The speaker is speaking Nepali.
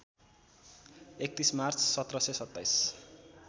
३१ मार्च १७२७